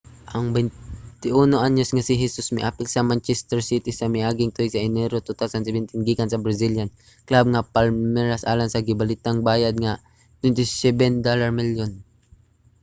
ang 21-anyos nga si hesus miapil sa manchester city sa miaging tuig sa enero 2017 gikan sa brazilian club nga palmeiras alang sa gibalitang bayad nga £27 milyon